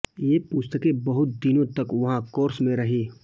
ये पुस्तकें बहुत दिनों तक वहाँ कोर्स में रहीं